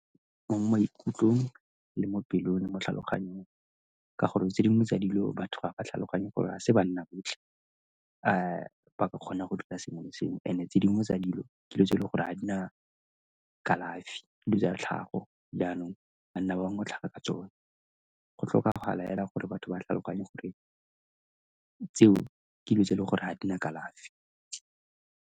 Mo maikutlong, le mo pelong le mo tlhaloganyong ka gore tse dingwe tsa dilo batho ba ba tlhaloganye gore a se banna botlhe ba ka kgona go sengwe le sengwe. And-e tse dingwe tsa dilo ke dilo tse e leng gore a di na kalafi, ke dilo tsa tlhago, jaanong banna ba bangwe ba tlhaga ka tsone. Go tlhokagala hela gore batho ba tlhaloganye gore tseo ke dilo tse e le gore ga di na kalafi.